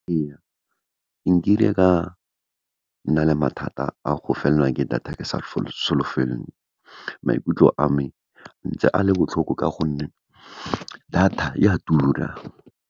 Ee, nkile ka nna le mathata a go felelwa ke data ke sa . Maikutlo a me, ntse a le botlhoko ka gonne data e a tura.